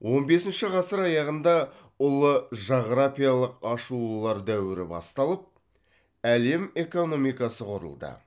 он бесінші ғасыр аяғында ұлы жағырапиялық ашылулар дәуірі басталып әлем экономикасы құрылды